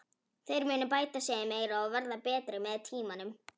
Þeir munu bæta sig meira og verða betri með tímanum.